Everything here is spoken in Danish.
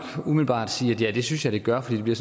umiddelbart sige at det synes jeg det gør for det bliver